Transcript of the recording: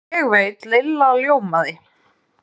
Ég veit Lilla ljómaði.